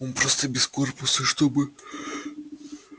он просто без корпуса чтобы